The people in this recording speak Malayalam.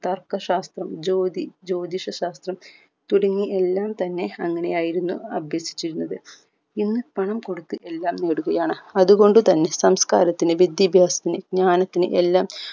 താസ്കശാസ്ത്രം ജ്യോതി ജ്യോതിഷശാസ്‌ത്രം തുടങ്ങി എല്ലാം തന്നെ അങ്ങനെയായിരുന്നു അഭ്യസിച്ചിരുന്നത് ഇന്ന് പണം കൊടുത്ത് എല്ലാം നേടുകയാണ് അത്കൊണ്ടു തന്നെ സംസ്കാരത്തിന് വിദ്യാഭ്യാസത്തിന് ജ്ഞാനത്തിന് എല്ലാം